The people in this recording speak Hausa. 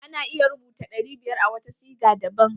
Ana iya rubuta ɗari biyar a wata sida daban.